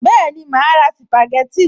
Bẹ́ẹ̀ni, màá ra sìpàgẹ́tì